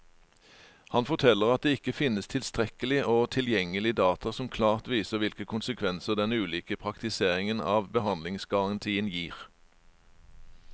Han forteller at det ikke finnes tilstrekkelig og tilgjengelig data som klart viser hvilke konsekvenser den ulike praktiseringen av behandlingsgarantien gir.